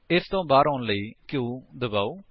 ਇਸ ਤੋਂ ਬਾਹਰ ਆਉਣ ਲਈ q ਦਬਾਓ